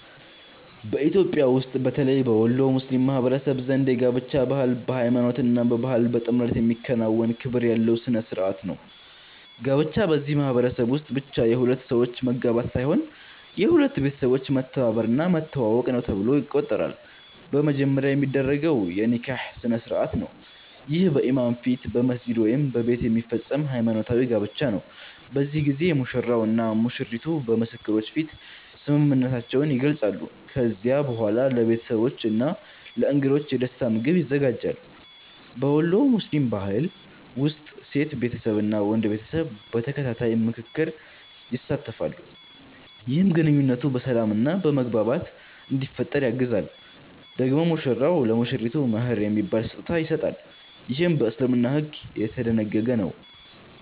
በኢትዮጵያ ውስጥ በተለይ በወሎ ሙስሊም ማህበረሰብ ዘንድ የጋብቻ ባህል በሃይማኖት እና በባህል በጥምረት የሚከናወን ክብር ያለው ሥነ ሥርዓት ነው። ጋብቻ በዚህ ማህበረሰብ ውስጥ ብቻ የሁለት ሰዎች መጋባት ሳይሆን የሁለት ቤተሰቦች መተባበር እና መተዋወቅ ነው ተብሎ ይቆጠራል። በመጀመሪያ የሚደረገው የ“ኒካህ” ስነ-ሥርዓት ነው። ይህ በኢማም ፊት በመስጊድ ወይም በቤት የሚፈጸም ሃይማኖታዊ ጋብቻ ነው። በዚህ ጊዜ ሙሽራው እና ሙሽሪቱ በምስክሮች ፊት ስምምነታቸውን ይገልጻሉ። ከዚያ በኋላ ለቤተሰቦች እና ለእንግዶች የደስታ ምግብ ይዘጋጃል። በወሎ ሙስሊም ባህል ውስጥ ሴት ቤተሰብ እና ወንድ ቤተሰብ በተከታታይ ምክክር ይሳተፋሉ፣ ይህም ግንኙነቱ በሰላም እና በመግባባት እንዲፈጠር ያግዛል። ደግሞ ሙሽራው ለሙሽሪቱ “መህር” የሚባል ስጦታ ይሰጣል፣ ይህም በእስልምና ሕግ የተደነገገ ነው።